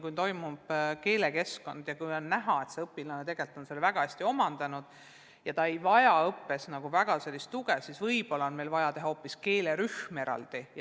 Kui keelekeskkond toimib ja on näha, et õpilane tegelikult on ained väga hästi omandanud ja ta ei vaja õppes väga tuge, siis võib-olla on meil vaja teha hoopis eraldi keelerühm.